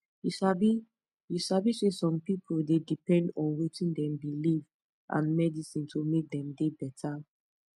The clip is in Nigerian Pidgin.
you sabi you sabi saysome pipu dey depend on wetin dem believe and medicine to make dem dey beta